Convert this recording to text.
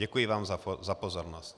Děkuji vám za pozornost.